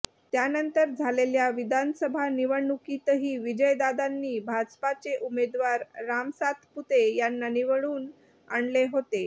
त्यानंतर झालेल्या विधानसभा निवडणुकीतही विजयदादांनी भाजपाचे उमेदवार रामसातपुते यांना निवडून आणले होते